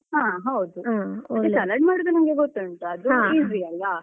ಹ ಹೌದು ಮತ್ತೆ salad ಮಾಡುದು ನಂಗೆ ಗೊತ್ತುಂಟು ಅದು easy ಅಲ್ವಾ.